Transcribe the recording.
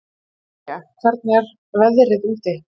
Hákonía, hvernig er veðrið úti?